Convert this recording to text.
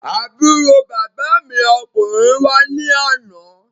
Àbúrò bàbá mi ọkùnrin wá ní àná.